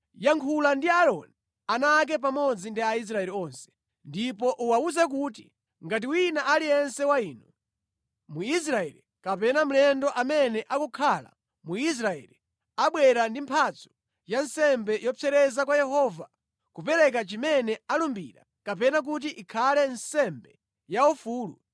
“Yankhula ndi Aaroni, ana ake pamodzi ndi Aisraeli onse, ndipo uwawuze kuti, ‘Ngati wina aliyense wa inu, Mwisraeli kapena mlendo amene akukhala mu Israeli abwera ndi mphatso ya nsembe yopsereza kwa Yehova, kupereka chimene analumbira kapena kuti ikhale nsembe yaufulu,